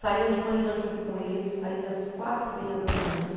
Saía de manhã junto com ele, saía às quatro e meia da manhã.